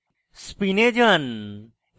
spin এ যান এবং